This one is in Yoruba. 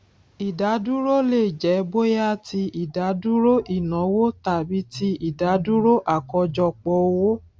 ìdádúró lè jẹ bóyá ti ìdádúró ìnáwó tàbí ti ìdádúró àkọjọpọ owó